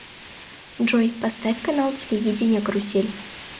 джой поставь канал телевидения карусель